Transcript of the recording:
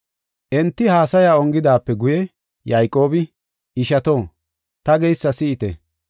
Enti haasaya ongidaape guye Yayqoobi, “Ishato, ta geysa si7ite.